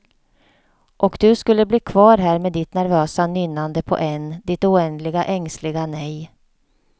Och du skulle bli kvar här med ditt nervösa nynnande på n, ditt oändliga ängsliga nej.